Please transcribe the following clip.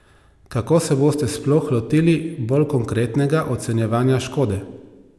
Kako se boste sploh lotili bolj konkretnega ocenjevanja škode?